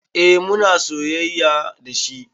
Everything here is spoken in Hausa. Eh muna soyayya dashi